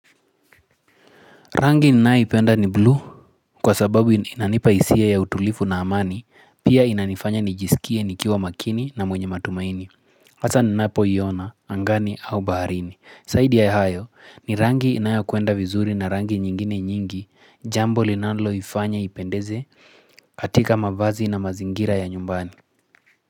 Rangi ninayoipenda ni blue kwa sababu inanipa isia ya utulifu na amani pia inanifanya nijisikie nikiwa makini na mwenye matumaini. Hasa ninapoiona angani au baharini. Zaidi ya hayo ni rangi inayokwenda vizuri na rangi nyingine nyingi jambo linalo ifanya ipendeze katika mavazi na mazingira ya nyumbani.